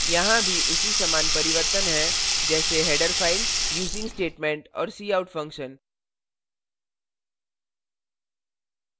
यहां भी उसी समान परिवर्तन हैं जैसे header फ़ाइल using statement और cout function